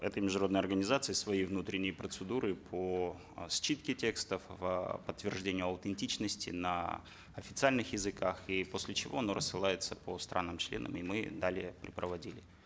это международная организация свои внутренние процедуры по э считке текстов э подтверждение аутентичности на официальных языках и после чего она рассылается по странам членам и мы далее препроводили